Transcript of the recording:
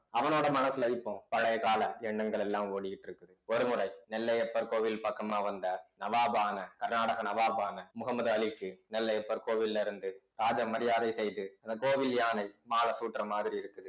அவனோட மனசுல இப்போ பழைய கால எண்ணங்கள் எல்லாம் ஓடிக்கிட்டு இருக்குது ஒருமுறை நெல்லையப்பர் கோவில் பக்கமா வந்த நவாபான கர்நாடக நவாபான முகமது அலிக்கு நெல்லையப்பர் கோவில்ல இருந்து ராஜ மரியாதை செய்து அந்த கோவில் யானை மாலை சூட்டுற மாதிரி இருக்குது